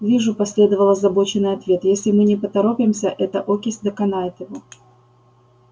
вижу последовал озабоченный ответ если мы не поторопимся эта окись доконает его